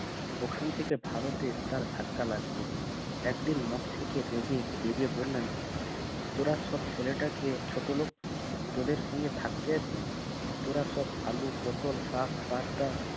ওখান থেকে ভারতে তার ধাক্কা লাগবে একদিন থেকে জেগে জেগে বললেন তোরা সব ছেলেটাকে ছোটলোক তোদের সাথে থাকতে তোরা সব আলু পটল শাক পাতা